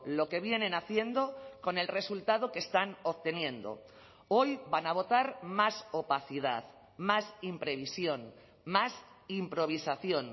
lo que vienen haciendo con el resultado que están obteniendo hoy van a votar más opacidad más imprevisión más improvisación